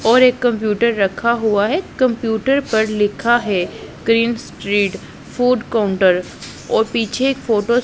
और एक कंप्यूटर रखा हुआ है कंप्यूटर पर लिखा है ग्रीन स्ट्रीट फूड काउंटर और पीछे एक फोटो --